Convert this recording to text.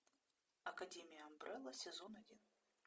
академия амбрелла сезон один